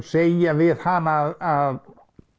segja við hana að